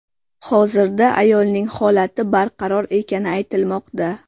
Hozirda ayolning holati barqaror ekani aytilmoqda.